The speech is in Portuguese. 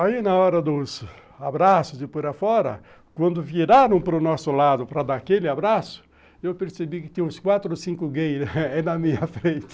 Aí, na hora dos abraços de por afora, quando viraram para o nosso lado para dar aquele abraço, eu percebi que tinha uns quatro ou cinco gays na minha frente.